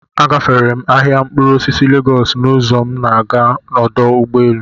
A gaféré m ahịa mkpụrụ osisi Légọọsu n'uzọ m si aga ọdụ ụgbọelu